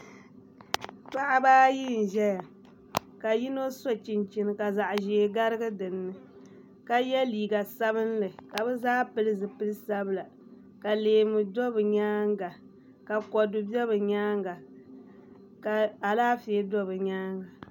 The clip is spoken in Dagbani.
Paɣaba ayi n ʒɛya ka yino so chinchini ka zaɣ ʒiɛ garigi dinni ka yɛ liiga sabinli ka bi zaa pili zipili sabila ka leemu do bi nyaanga ka kodu bɛ bi nyaanga ka Alaafee bɛ bi nyaanga